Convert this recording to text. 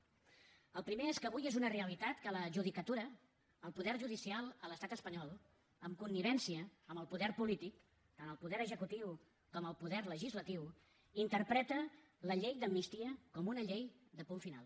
el primer és que avui és una realitat que la judicatura el poder judicial a l’estat espanyol amb connivència amb el poder polític tant el poder executiu com el poder legislatiu interpreta la llei d’amnistia com una llei de punt final